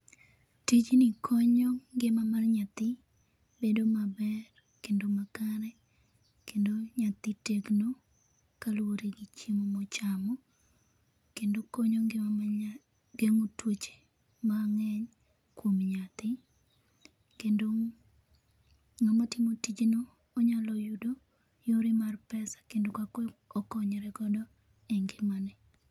tijni konyo ngima mar nyathi bedo maber kendo makare kendo nyathi tegno kaluore gi chiemo mochamo, kendo konyo ngima mar nyathim gengo tuoche mang'eny kuom nyathi, kendo ng'ama timo tijno onyalo yudo yore mar pesa kendo kaka okonyre godo e ngimane